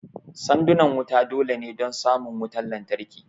Sandunan wuta dole ne don samun wutan lantarki